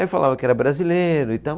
Aí falava que era brasileiro e tal.